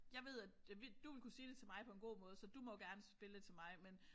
Jeg ved at du ville kunne sige det til mig på en god måde så du må gerne spille 1 til mig men